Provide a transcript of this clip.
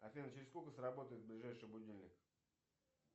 афина через сколько сработает ближайший будильник